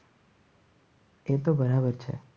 એ તો બરાબર છે.